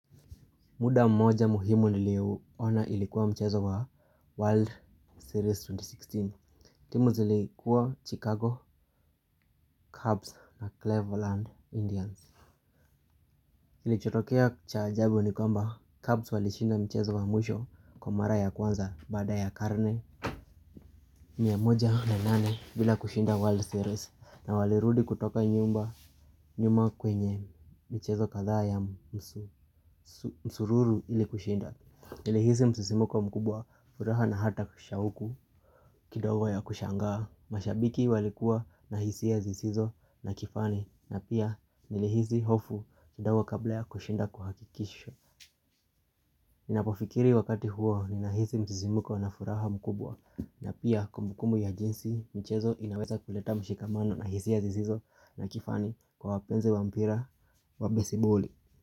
Muda mmoja muhimu niliouona ilikuwa mchezo wa World Series elfu mbili na kumi na sita, timu zilikuwa Chicago, Cubs na Cleveland, Indians. Klichotokea cha ajabu ni kwamba, Cubs walishinda mchezo wa mwisho kwa mara ya kwanza baada ya karne mia moja na nane bila kushinda World Series na walirudi kutoka nyuma kwenye michezo kadhaa ya msururu ili kushinda. Nilihisi msisimko mkubwa furaha na hata shauku kidogo ya kushangaa. Mashabiki walikuwa na hisia zisizo na kifani na pia nilehisi hofu kidogo kabla ya kushinda kuhakikishwa. Ninapofikiri wakati huo ninahisi msisimuko na furaha mkubwa na pia kumbukumbu ya jinsi michezo inaweza kuleta mshikamano na hisia zisizo na kifani kwa wapenzi wa mpira wabesiboli.